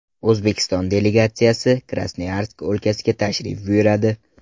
O‘zbekiston delegatsiyasi Krasnoyarsk o‘lkasiga tashrif buyuradi.